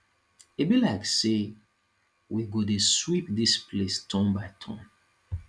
e be like say we go dey sweep dis place turn by turn